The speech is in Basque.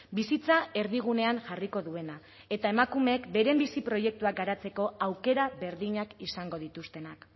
bizitza erdigunean jarriko duena eta emakumeek beren bizi proiektua garatzeko aukera berdinak izango dituztenak